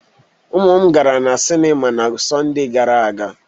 Ụmụ m gara na sinima na Sọnde gara aga.